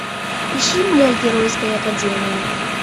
ищи моя геройская академия